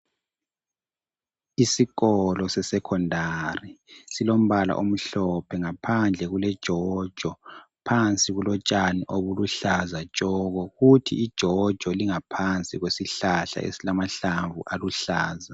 Isikolo sesecondary, silombala omhlophe. Ngaphandle kuleJojo. Ngaphansi kulotshani obuluhlaza tshoko! Kuthi iJojo ingaphansi kwesihlahla, esilamahlamvu aluhlaza.